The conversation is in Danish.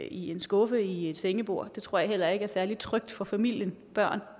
i en skuffe i et sengebord det tror jeg heller ikke er særlig trygt for en familie med børn